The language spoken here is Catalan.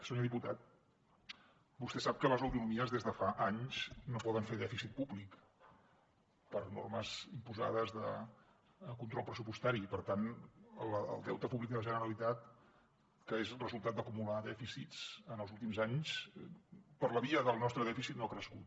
senyor diputat vostè sap que les autonomies des de fa anys no poden fer dèficit públic per normes imposades de control pressupostari i per tant el deute públic de la generalitat que és resultat d’acumular dèficits en els últims anys per la via del nostre dèficit no ha crescut